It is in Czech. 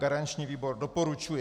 Garanční výbor doporučuje.